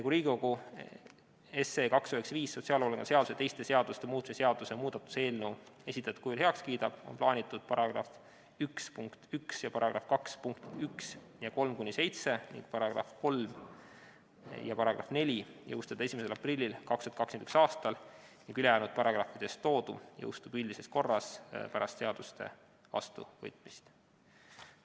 Kui Riigikogu sotsiaalhoolekande seaduse ja teiste seaduste muutmise seaduse muudatuse eelnõu 295 esitatud kujul heaks kiidab, on plaanitud § 1 punkt 1 ja § 2 punktid 1 ja 3–7, samuti § 3 ja § 4 jõustada 1. aprillil 2021. aastal ning ülejäänud paragrahvides toodu jõustub üldises korras pärast seaduste vastuvõtmist.